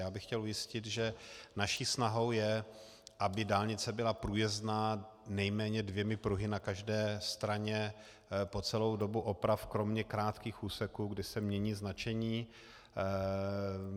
Já bych chtěl ujistit, že naší snahou je, aby dálnice byla průjezdná nejméně dvěma pruhy na každé straně po celou dobu oprav kromě krátkých úseků, kde se mění značení.